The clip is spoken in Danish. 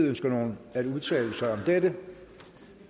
ønsker nogen at udtale sig da det